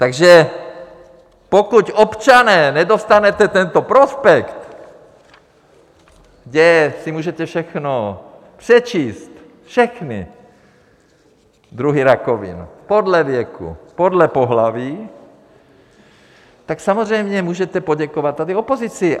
Takže pokud, občané, nedostanete tento prospekt , kde si můžete všechno přečíst, všechny druhy rakovin, podle věku, podle pohlaví, tak samozřejmě můžete poděkovat tady opozici.